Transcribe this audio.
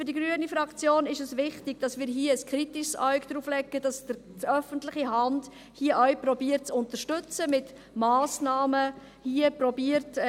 Für die grüne Fraktion ist es wichtig, dass wir hier ein kritisches Auge darauf haben, dass die öffentliche Hand, hier zu unterstützen versucht, hier mit Massnahmen einzuwirken versucht.